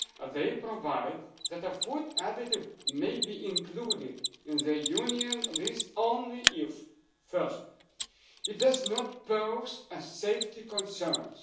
They provide that a food additive may be included in the Union list only if firstly, it does not pose safety concerns